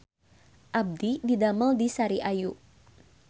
Abdi didamel di Sari Ayu